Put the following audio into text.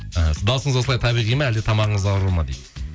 іхі дауысыңыз осылай табиғи ма әлде тамағыңыз ауру ма дейді